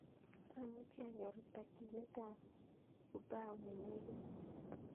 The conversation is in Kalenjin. Amuchi anyor takyinet ab upau nenegit mising